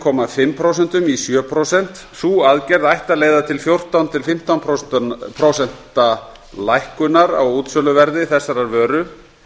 og fimm prósent í sjö prósent sú aðgerð ætti að leiða til fjórtán til fimmtán prósent lækkunar á útsöluverði þessarar vöru